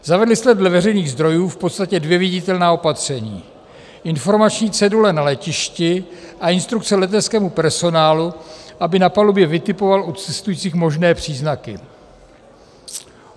Zavedli jste dle veřejných zdrojů v podstatě dvě viditelná opatření: informační cedule na letišti a instrukce leteckému personálu, aby na palubě vytipoval u cestujících možné příznaky.